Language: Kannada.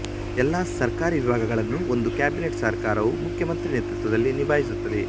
ಎಲ್ಲಾ ಸರ್ಕಾರಿ ವಿಭಾಗಗಳನ್ನು ಒಂದು ಕ್ಯಾಬಿನೆಟ್ ಸರ್ಕಾರ ವು ಮುಖ್ಯ ಮಂತ್ರಿ ನೇತೃತ್ವದಲ್ಲಿ ನಿಭಾಯಿಸುತ್ತದೆ